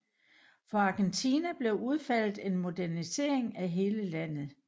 For Argentina blev udfaldet en modernisering af hele landet